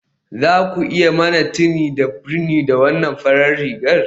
Za ku iya yi mani tini da rini da wannan farar rigar